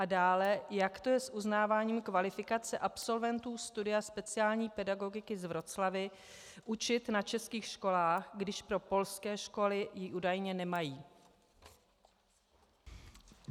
A dále, jak to je s uznáváním kvalifikace absolventů studia speciální pedagogiky z Wroclawi učit na českých školách, když pro polské školy ji údajně nemají?